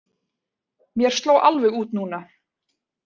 Mér sló alveg út núna.